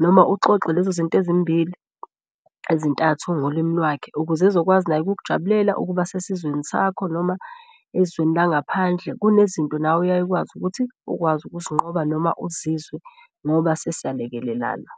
noma uxoxe lezo zinto ezimbili ezintathu ngolimi lwakhe. Ukuze ezokwazi naye ukukujabulela ukuba sesizweni sakho noma ezweni langaphandle kunezinto nawe oyaye ukwazi ukuthi ukwazi ukusinqoba noma uzizwe ngoba sesiyalekelelana.